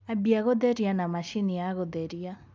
ambĩa gutherĩa na machĩnĩ ya gutherĩa